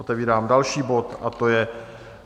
Otevírám další bod a to je